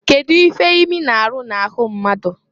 Kedu ife imi na-aru na-ahụ mmadu?